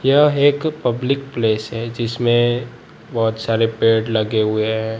यह एक public place है जिसमें बहुत सारे पेड़ लगे हुए हैं।